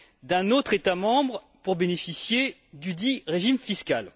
d'un autre État membre pour bénéficier dudit régime fiscal.